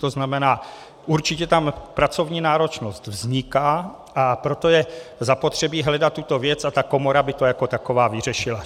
To znamená, určitě tam pracovní náročnost vzniká, a proto je zapotřebí hledat tuto věc a ta komora by to jako taková vyřešila.